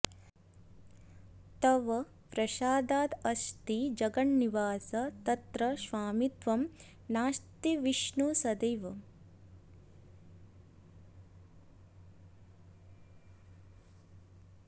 तव प्रसादादस्ति जगन्निवास तत्र स्वामित्वं नास्ति विष्णो सदैव